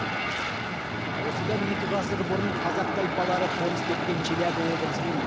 осыдан екі ғасыр бұрын алғаш қазақ тайпалары қоныс тепкен челябі облысының